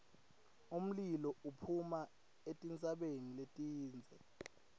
umlilo uphuma etintsabeni letindze